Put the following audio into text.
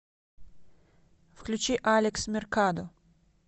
включи алекс меркадо